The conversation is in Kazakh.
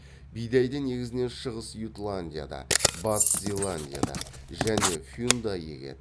бидайды негізінен шығыс ютландияда батыс зеландияда және фюнда егеді